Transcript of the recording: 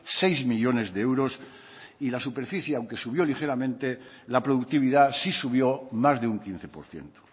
seis millónes de euros y la superficie aunque subió ligeramente la productividad sí subió más de un quince por ciento